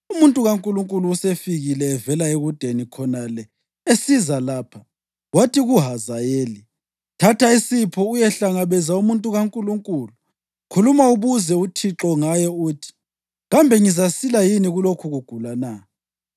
“Umuntu kaNkulunkulu usefikile uvela ekudeni khonale esiza lapha,” wathi kuHazayeli: “Thatha isipho uyehlangabeza umuntu kaNkulunkulu. Khuluma ubuze uThixo ngaye; uthi, ‘Kambe ngizasila yini kulokhu kugula na?’ ”